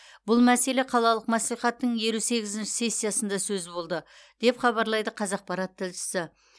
бұл мәселе қалалық мәслихаттың елу сегізінші сессиясында сөз болды деп хабарлайды қазақпарат тілшісі